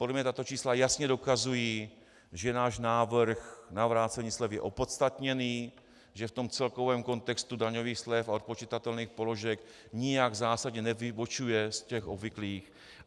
Podle mě tato čísla jasně dokazují, že náš návrh na vrácení slevy je opodstatněný, že v tom celkovém kontextu daňových slev a odpočitatelných položek nijak zásadně nevybočuje z těch obvyklých.